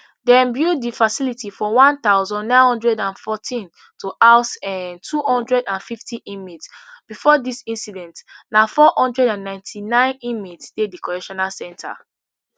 dem build di facility for one thousand, nine hundred and fourteen to house um two hundred and fifty inmates before dis incident na four hundred and ninety-nine inmates dey di correctional centre